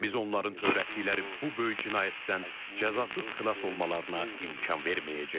Biz onların törətdikləri bu böyük cinayətdən cəzasız xilas olmalarına imkan verməyəcəyik.